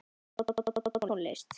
Bogi hefur áhuga á tónlist.